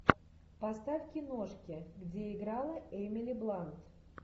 поставь киношки где играла эмили блант